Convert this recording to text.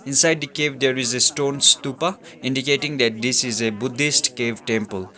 inside the cave there is a stone stupa indicating that this is a buddhist cave temple.